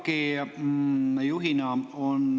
Teie ELAK‑i juhina …